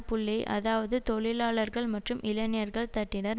புள்ளியை அதாவது தொழிலாளர்கள் மற்றும் இளைஞர்கள் தட்டினர்